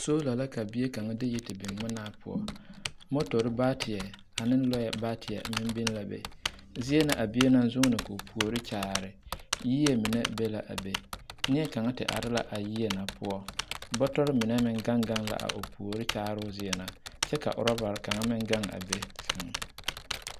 Soola la ka bie kaŋa a de yi ti biŋ ngmenaa poɔ motore baateɛ ane lɔɛ baateɛ meŋ biŋ la be zie na a bie naŋ zuune koo puori kyaare yie mine be la be neɛ kaŋa ti are la a yie na poɔ bɔtɔrre mine meŋ gaŋ gaŋ la a o puori kyaaroo zie na kyɛ ka rɔba kaŋa meŋ gaŋ a be sɛŋ.